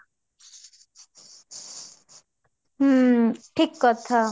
ହୁଁ ଠିକ କଥା